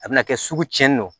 A bɛna kɛ sugu cɛn don